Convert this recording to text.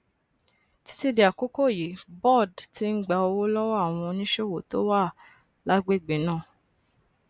títí di àkókò yìí boad ti ń gba owó lọwọ àwọn oníṣòwò tó wà lágbègbè náà